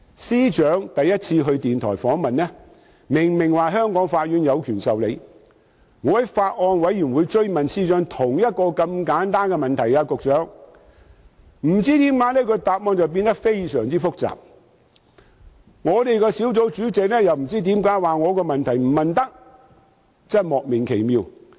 司長首次接受電台訪問時，明明說過香港法院有權審理，但當我在法案委員會追問司長同一個簡單的問題時，其答覆卻不知為何變得相當複雜，而小組委員會主席又指我的問題不可提出，真的莫名其妙。